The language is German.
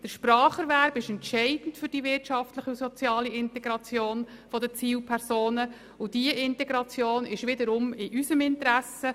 Der Spracherwerb ist für die soziale Integration entscheidend, und diese Integration ist wiederum in unserem Interesse.